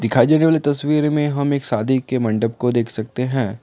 दिखाई जाने वाली तस्वीर में हम एक शादी के मंडप को देख सकते हैं ।